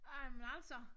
Ej men altså